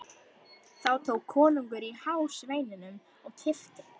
Þá tók konungur í hár sveininum og kippti.